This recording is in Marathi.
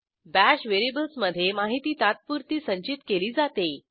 बाश व्हेरिएबल्समधे माहिती तात्पुरती संचित केली जाते